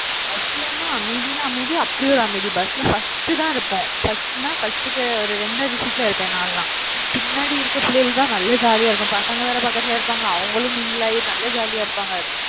bus லன்னா அமைதின்னா அமைதி அப்படி ஒரு அமைதி. bus ல first தான் இருப்போம். first ன்னா first க்கு ஒரு இரண்டாவது seat ல இருப்பேன் நானெல்லாம். பின்னாடி இருக்கிற பிள்ளைகள்தான் நல்லா jolly ஆ இருக்கும். பசங்க வேற பக்கத்துல இருப்பாங்க. அவங்களும் mingle ஆகி நல்லா jolly ஆ இருப்பாங்க